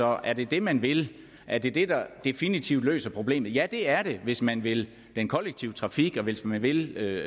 er det det man vil er det det der definitivt løser problemet ja det er det hvis man vil den kollektive trafik og hvis man vil